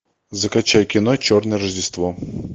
закачай кино черное рождество